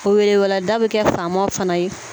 O weleweleda bɛ kɛ faamaw fana ye